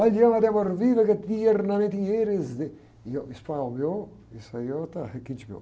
E, e o espanhol meu, isso aí é outra, requinte meu.